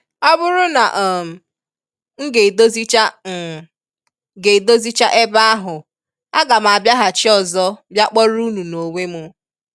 "Ọ bụrụ na um m ga-edozicha m ga-edozicha ebe ahụ, a ga m abiaghachi ọzọ bịa kpọrọ unu n'onwe m”